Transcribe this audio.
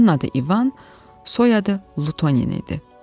Onun adı İvan, soyadı Lutonin idi.